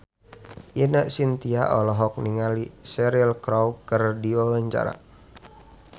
Ine Shintya olohok ningali Cheryl Crow keur diwawancara